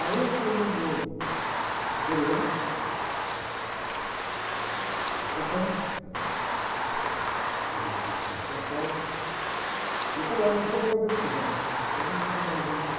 Aí eu fui no meu superior, frei, que era o primeiro aqui do convento de São Paulo, e falei, olha, eu tomei a decisão, eu não vou para Brasília, não.